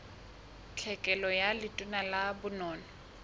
tlhekelo ka letona la bonono